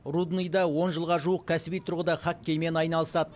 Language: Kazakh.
рудныйда он жылға жуық кәсіби тұрғыда хоккеймен айналысады